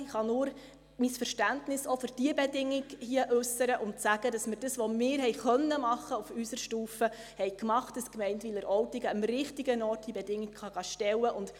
Ich kann nur mein Verständnis auch für diese Bedingung hier äussern und sagen, dass wir das, was wir auf unserer Stufe tun konnten, gemacht haben, damit die Gemeinde Wileroltigen die Bedingung am richtigen Ort stellen und verhandeln kann.